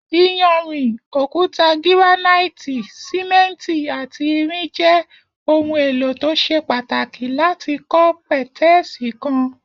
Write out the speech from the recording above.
Iyanrìn, òkúta gíránáìtì, sìmé̩ǹtì àti irin je̩ ohun è̩lò tó s̩e pàtàkì láti kó̩ pè̩té̩è̩sì kan